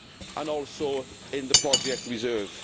and also in the project reserve.